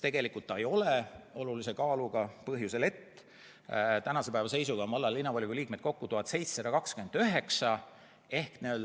Tegelikult see ei ole olulise kaaluga põhjusel, et tänase päeva seisuga on valla- ja linnavolikogu liikmeid kokku 1729.